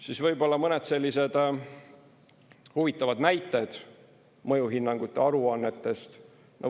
Siis võib-olla mõned huvitavad näited mõjuhinnangute aruannetest.